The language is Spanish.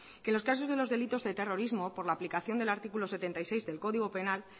que los casos de los delitos de terrorismo por la aplicación del artículo setenta y seis del código penal